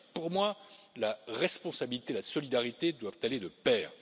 En effet, pour moi, la responsabilité et la solidarité doivent aller de pair.